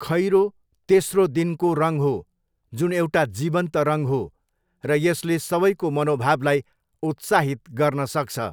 खैरो तेस्रो दिनको रङ हो, जुन एउटा जीवन्त रङ हो र यसले सबैको मनोभावलाई उत्साहित गर्न सक्छ।